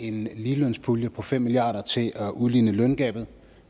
en ligelønspulje på fem milliard kroner til at udligne løngabet